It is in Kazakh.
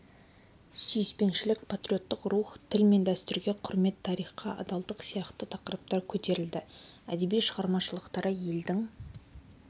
сүйіспеншілік патриоттық рух тіл мен дәстүрге құрмет тарихқа адалдық сияқты тақырыптар көтерілді әдеби шығармашылықтары елдің